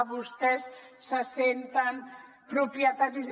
vostès se senten propietaris